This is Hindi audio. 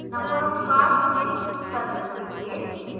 no of cars in service के लिए